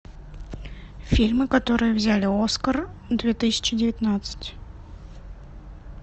фильмы которые взяли оскар две тысячи девятнадцать